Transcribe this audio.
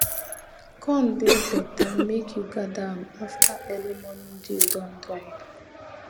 corn dey better make you gather am after early morning dew don dry